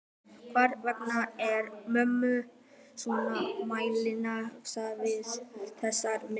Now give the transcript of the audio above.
Hvers vegna er mömmu svona meinilla við þessar myndir?